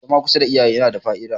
zama kusa da iyaye yana da Fa`ida